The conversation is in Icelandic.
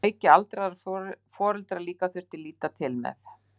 Og síðar að auki aldraða foreldra sem líka þurfti að líta til með.